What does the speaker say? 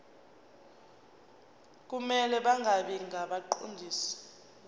kumele bangabi ngabaqondisi